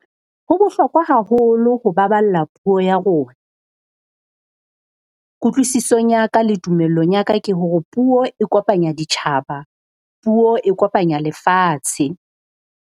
Ho bohlokwa haholo ho baballa puo ya rona. Kutlwisisong ya ka le tumellong ya ka ke hore puo e kopanya ditjhaba, puo e kopanya lefatshe.